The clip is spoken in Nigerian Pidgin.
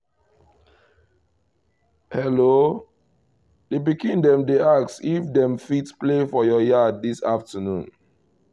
hello! the pikin dem dey ask if dem fit play for your yard this afternoon